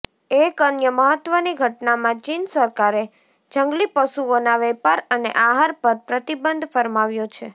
એક અન્ય મહત્વની ઘટનામાં ચીન સરકારે જંગલીપશુઓના વેપાર અને આહાર પર પ્રતિબંધ ફરમાવ્યો છે